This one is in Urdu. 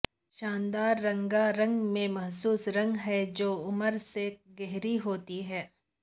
شاندار رنگا رنگ میں مخصوص رنگ ہے جو عمر سے گہری ہوتی ہے